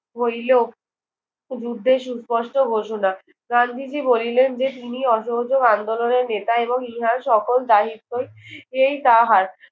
হইলেও দূরদেশ স্পষ্ট ঘোষণা। গান্ধীজি বলিলেন যে, তিনি অসহযোগ আন্দোলনের নেতা এবং ইহার সকল দায়িত্বই এই তাহার।